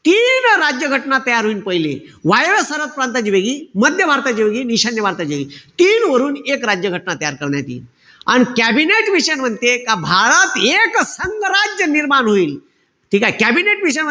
तीन राज्य घटना तयार होईन पहिले. वायव्य सरहद प्रांताची वेगळी. मध्य भारताची वेगळी. अन ईशान्य भारताची वेगळी. तीन वरून एक राज्य घटना तयार करण्यात यिन. अन कॅबिनेट मिशन म्हणते का भारत एकसंघ राज्य निर्माण होईन. ठीकेय? Cabinet mission,